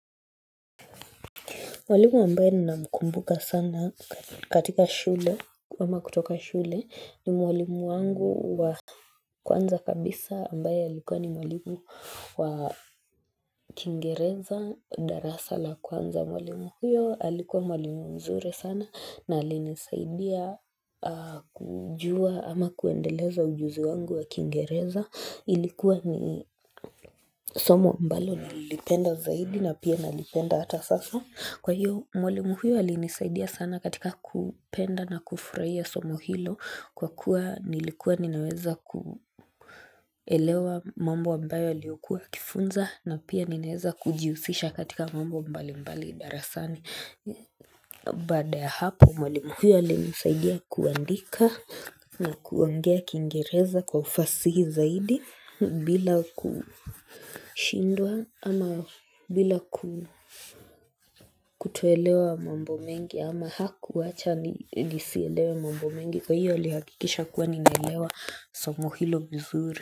Mwalimu ambaye ninamkumbuka sana katika shule ama kutoka shule ni mwalimu wangu wa kwanza kabisa ambaye alikuwa ni mwalimu wa kingereza darasa la kwanza. Mwalimu huyo alikuwa mwalimu mzuri sana na alinisaidia kujua ama kuendeleza ujuzi wangu wa kingereza ilikuwa ni somo ambalo nililipenda zaidi na pia nalipenda hata sasa. Kwahiyo mwalimu huyo alinisaidia sana katika kupenda na kufurahia somo hilo kwakuwa nilikuwa ninaweza kuelewa mambo ambayo aliyokua akifunza na pia ninaweza kujihusisha katika mambo mbalimbali darasani. Baada ya hapo mwalimu huyo alinisaidia kuandika na kuongea kingereza kwa ufasihi zaidi bila kushindwa ama bila kutoelewa mambo mengi ama hakuacha nisielewe mambo mengi, kwahiyo alihakikisha kuwa ninaelewa somo hilo vizuri.